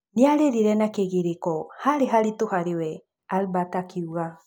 Nĩarĩrire na kĩgirĩko, harĩ haritũ harĩ we’’ Albert akiuga